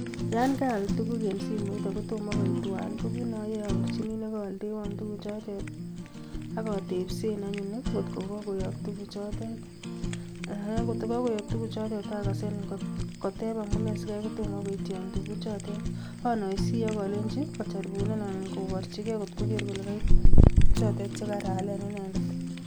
Yon kaal tuguk en simoit akotomo koitwan, ko kit neoyoe abirchini nekooldewon tuguchotet. Ak atebseen anyun angot ko kakoyook tuguchotet, akongot kakoyook tuguchotet ,atebseen koteb amune sikai kotomo koityoon tuguchotet. Anoisie ak alonyiin kojaribunan anan kobirchigei kot kogeer kole kaitwan tuguk chotet chekaraalen inendet.